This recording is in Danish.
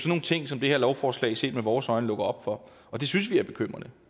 nogle ting som det her lovforslag set med vores øjne lukker op for og det synes vi er bekymrende